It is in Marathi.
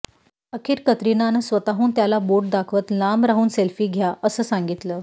अखेर कतरिनानं स्वतःहून त्यांना बोट दाखवत लांब राहून सेल्फी घ्या असं सांगितलं